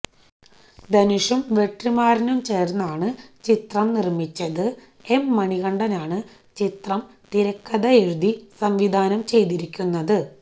ധനുഷും വെട്രിമാരനും ചേര്ന്നാണ് ചിത്രം നിര്മ്മിച്ച ചിത്രം എം മണികണ്ഠനാണ് ചിത്രം തിരക്കഥയെഴുതി സംവിധാനം ചെയ്തിരിക്കുന്നത്